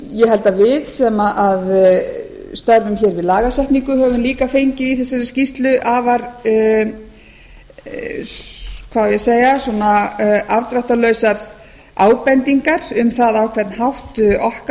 ég held að að við sem störfum hér við lagasetningu höfum líka fengið í þessari skýrslu afar hvað á ég að segja afdráttarlausar ábendingar um það á hvern hátt okkar